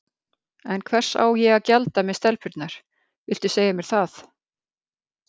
En hvers á ég að gjalda með stelpurnar, viltu segja mér það?